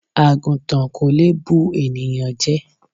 Àgùntàn kò lè bu ènìyàn jẹ.